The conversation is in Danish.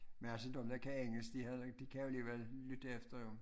Men altså dem der kan engelsk de havde ikke de kan alligevel lytte efter jo